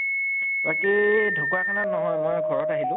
বাকী ঢকুৱাখানাত নহয় মই ঘৰত আহিলো